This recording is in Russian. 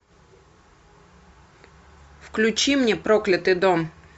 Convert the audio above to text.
включи мне проклятый дом